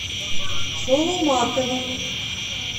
соломатова